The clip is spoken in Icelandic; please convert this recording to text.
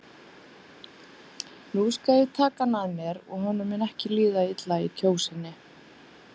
Nú skal ég taka hann að mér og honum mun ekki líða illa í Kjósinni.